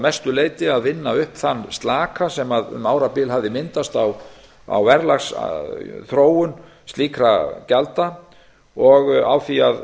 mestu leyti að vinna upp þann slaka sem um árabil hafði myndast á verðlagsþróun slíkra gjalda og á því að